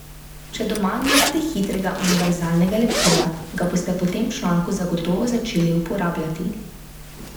Če doma nimate hitrega univerzalnega lepila, ga boste po tem članku zagotovo začeli uporabljati.